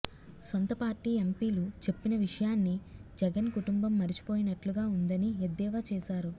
సొంత పార్టీ ఎంపీలు చెప్పిన విషయాన్ని జగన్ కుటుంబం మరిచిపోయినట్లుగా ఉందని ఎద్దేవా చేశారు